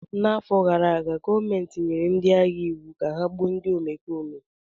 N'afọ gara aga, gọọmentị nyere ndị agha iwu ka ha gbuo ndị omekome!